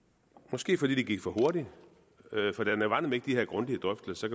måske fordi det gik for hurtigt for der var nemlig ikke de her grundige drøftelser